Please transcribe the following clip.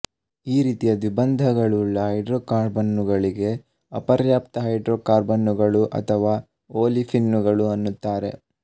ಈ ರೀತಿಯ ದ್ವಿಬಂಧಗಳುಳ್ಳ ಹೈಡ್ರೋಕಾರ್ಬನ್ನುಗಳಿಗೆ ಅಪರ್ಯಾಪ್ತ ಹೈಡ್ರೋಕಾರ್ಬನ್ನುಗಳು ಅಥವಾ ಓಲಿಫಿನ್ನುಗಳು ಅನ್ನುತ್ತಾರೆ